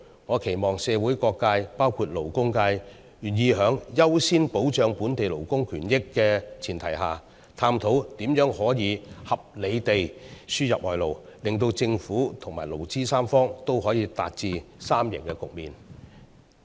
我期望社會各界願意在優先保障本地勞工權益的前提下，探討如何合理地輸入外勞，使政府和勞資三方可以達致三贏局面。